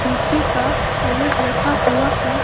नीचे का अलग रखा हुआ है।